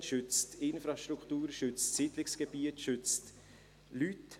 Er schützt Infrastruktur, schützt Siedlungsgebiet, schützt Leute.